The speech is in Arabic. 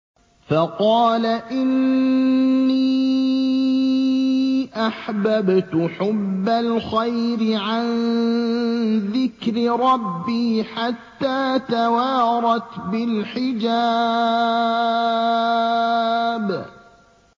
فَقَالَ إِنِّي أَحْبَبْتُ حُبَّ الْخَيْرِ عَن ذِكْرِ رَبِّي حَتَّىٰ تَوَارَتْ بِالْحِجَابِ